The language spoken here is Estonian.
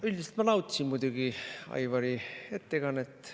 Üldiselt ma muidugi nautisin Aivari ettekannet.